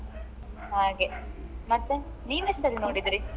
ಹಾಗೆ ಮತ್ತೆ ನೀನ್ ಎಷ್ಟು ಸಲಿ ನೋಡಿದ್ರಿ.